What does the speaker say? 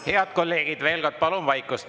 Head kolleegid, veel kord: palun vaikust!